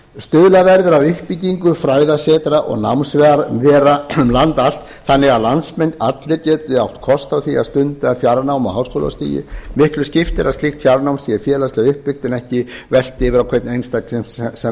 stuðla verður að uppbyggingu fræðasetra og námsvera um land allt þannig að landsmenn allir geti átt kost á því að stunda fjarnám á háskólastigi miklu skiptir að slíkt fjarnám sé félagslega uppbyggt en ekki velt yfir á hvern einstakling sem stundar